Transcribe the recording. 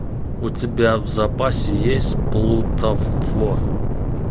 у тебя в запасе есть плутовство